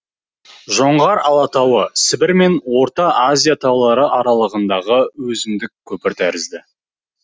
жоңғар алатауы сібір мен орта азия таулары аралығындағы өзіндік көпір тәрізді